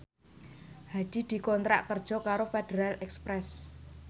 Hadi dikontrak kerja karo Federal Express